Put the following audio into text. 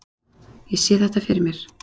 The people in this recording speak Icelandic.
Ég sé þetta fyrir mér.